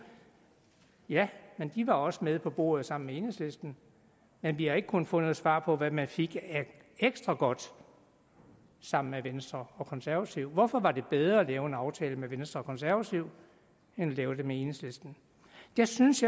ja men de var også med på bordet sammen med enhedslisten men vi har ikke kunnet få noget svar på hvad man fik af ekstra godt sammen med venstre og konservative hvorfor var det bedre at lave en aftale med venstre og konservative end at lave den med enhedslisten jeg synes